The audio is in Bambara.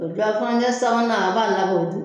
O jɔ furancɛɛ sabanan a b'a labɔ don